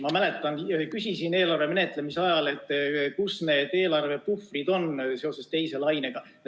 Ma mäletan, et küsisin eelarve menetlemise ajal, kus need teise laine eelarvepuhvrid on.